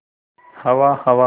हवा हवा